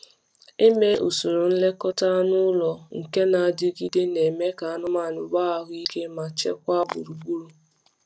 Ime usoro nlekọta anụ ụlọ nke na-adigide na-eme ka anụmanụ nwee ahụ ike ma chekwaa gburugburu.